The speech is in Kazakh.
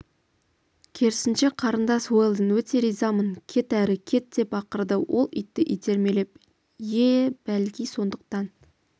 керісінше қарындас уэлдон өте ризамын кет әрі кет деп ақырды ол итті итермелеп ие бәлки сондықтан